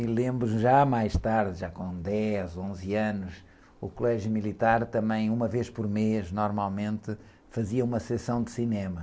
E lembro, já mais tarde, já com dez, onze anos, o colégio militar também, uma vez por mês, normalmente, fazia uma sessão de cinema.